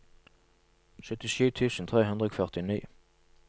syttisju tusen tre hundre og førtini